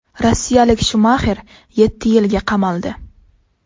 Rossiyalik Shumaxer yetti yilga qamaldi.